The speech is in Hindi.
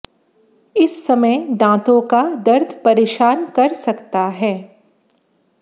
इस समय दांतों का दर्द परेशान कर सकता है